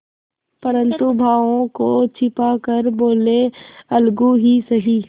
परंतु भावों को छिपा कर बोलेअलगू ही सही